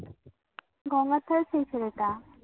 ? গলাতেও সেই ছেলেটা